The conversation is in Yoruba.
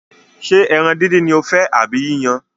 Ṣé ẹran díndín ni o fẹ́ àbí yíyan?